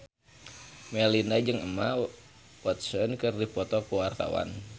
Melinda jeung Emma Watson keur dipoto ku wartawan